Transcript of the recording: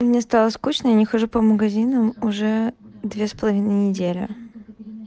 мне стало скучно и я не хожу по магазинам уже две с половиной недели